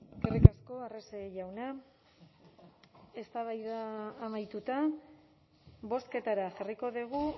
eskerrik asko arrese jauna eztabaida amaituta bozketara jarriko dugu